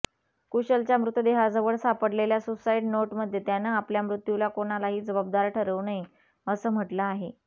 कुशलच्या मृतदेहाजवळ सापडलेल्या सुसाइड नोटमध्ये त्यानं आपल्या मृत्यूला कोणालाही जबाबदार ठरवू नये असं म्हटलं आहे